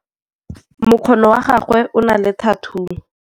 mokgono wa gagwe o na le thathuu